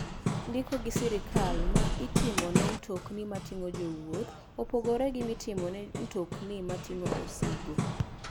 Ndiko gi sirkal ma itomone mtokni mating'o jowuoth opogore gi mitimone mtokni mating'o osigo.